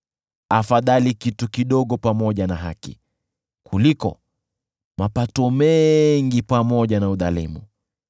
Afadhali kitu kidogo pamoja na haki kuliko mapato mengi pamoja na udhalimu.